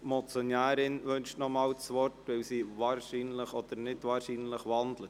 Die Motionärin wünscht noch einmal das Wort, weil sie wahrscheinlich oder nicht wahrscheinlich wandelt.